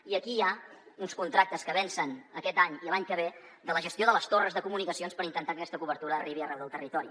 i aquí hi ha uns contractes que vencen aquest any i l’any que ve de la gestió de les torres de comunicacions per intentar que aquesta cobertura arribi arreu del territori